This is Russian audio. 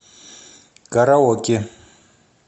караоке